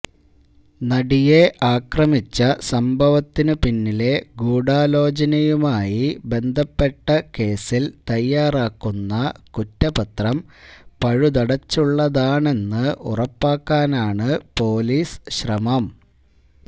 നടിയെ ആക്രമിച്ച സംഭവത്തിനു പിന്നിലെ ഗൂഢാലോചനയുമായി ബന്ധപ്പെട്ട കേസിൽ തയാറാക്കുന്ന കുറ്റപത്രം പഴുതടച്ചുള്ളതാണെന്ന് ഉറപ്പാക്കാനാണ് പൊലീസ് ശ്രമം